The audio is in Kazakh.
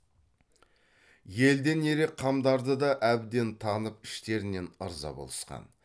елден ерек қамдарды да әбден танып іштерінен ырза болысқан